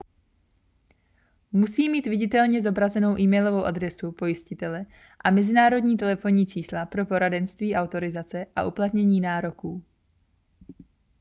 musí mít viditelně zobrazenou e-mailovou adresu pojistitele a mezinárodní telefonní čísla pro poradenství/autorizace a uplatnění nároků